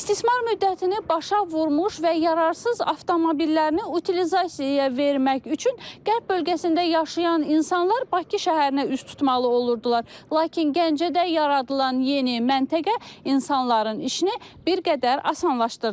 İstismar müddətini başa vurmuş və yararsız avtomobillərini utilizasiyaya vermək üçün Qərb bölgəsində yaşayan insanlar Bakı şəhərinə üz tutmalı olurdular, lakin Gəncədə yaradılan yeni məntəqə insanların işini bir qədər asanlaşdırdı.